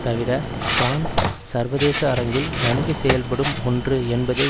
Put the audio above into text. தவிர பிரான்ஸ் சர்வதேச அரங்கில் நன்கு செயல்படும் ஒன்று என்பதை